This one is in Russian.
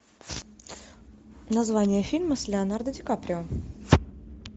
название фильма с леонардо дикаприо